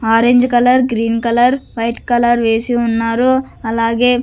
Orange colour green colour white colour వేసి ఉన్నారు అలాగే.